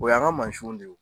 O y'an ka mansinw de ye o.